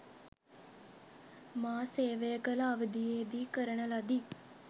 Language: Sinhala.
මා සේවය කළ අවධියේදී කරන ලදී.